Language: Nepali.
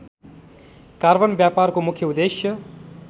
कार्बन व्यापारको मुख्य उद्देश्य